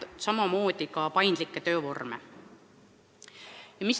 Ka pole piisavalt paindlikke töövorme.